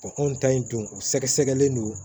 anw ta in don u sɛgɛsɛgɛlen don